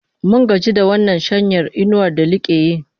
Mun gaji da wannan shanyar inuwar da like yi.